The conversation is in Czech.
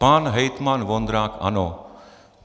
Pan hejtman Vondrák ano.